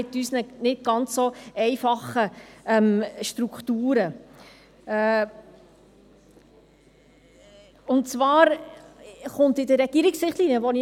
Mit dieser Planungserklärung möchten wir die Bildung viel besser in den Regierungsrichtlinien verankern.